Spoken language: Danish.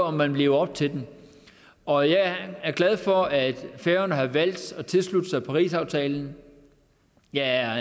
om man lever op til den og jeg er glad for at færøerne har valgt at tilslutte sig parisaftalen jeg er